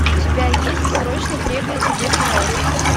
у тебя есть срочно требуется дед мороз